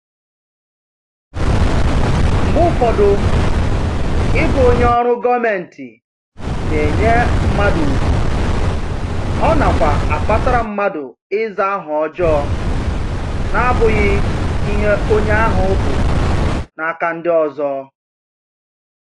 Mgbe ụfọdụ, ịbụ onye ọrụ gọmentị na-enye mmadụ ugwu, ọ nakwa akpatara mmadụ ịza aha ọjọọ n'abụghị ihe onye ahụ bụ n'aka ndị ọzọ